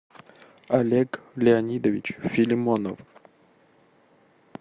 олег леонидович филимонов